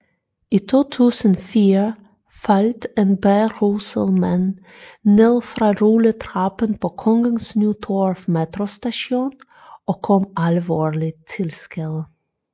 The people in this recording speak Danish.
I 2004 faldt en beruset mand ned fra rulletrappen på Kongens Nytorv metrostation og kom alvorligt til skade